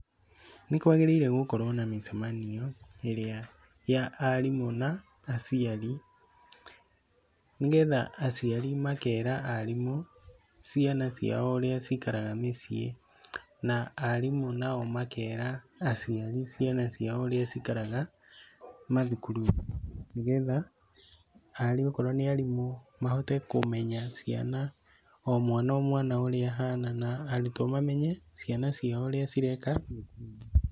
Nĩ kwagĩrĩire gũkorwo na mĩcemanio ĩrĩa ya arimũ na aciari, nĩgetha aciari makera arimũ ciana cio ũrĩa cikaraga mĩciĩ na arimũ nao makera aciari ciana ciao ũrĩa cikaraga macukuru, nĩgetha okorwo nĩ arimũ mahote kũmenya ciana, o mwana o mwana ũrĩa ahana na arũtwo mamenye ciana ciao ũrĩa cireka cukuru.